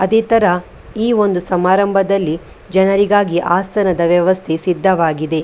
ಅದೇ ತರ ಈ ಒಂದು ಸಮಾರಂಭದಲ್ಲಿ ಜನರಿಗಾಗಿ ಆಸನದ ವ್ಯವಸ್ಥೆ ಸಿದ್ಧವಾಗಿದೆ .